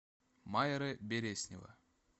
майра береснева